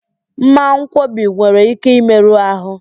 Mmankwọbi nwere ike ịmerụ ahụ